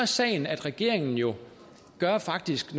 sagen at regeringen jo faktisk